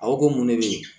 A ko ko mun ne bɛ yen